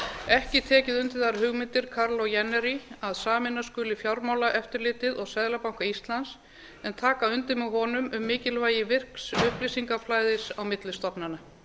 ekki tekið undir þær hugmyndir kaarlos jännäris að sameina skuli fjármálaeftirlitið og seðlabanka íslands en taka undir með honum um mikilvægi virks upplýsingaflæðis á milli stofnana